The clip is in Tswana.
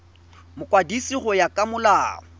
mokwadisi go ya ka molao